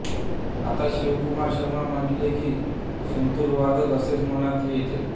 आता शिव कुमार शर्मा म्हटले की संतूर वादक असेच मनात येते